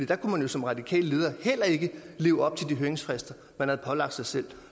der kunne man som radikal leder heller ikke leve op til de høringsfrister man havde pålagt sig selv